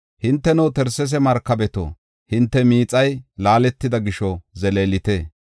Hinteno, Tarsesa markabeto, hinte miixay laaletida gisho, zeleelite.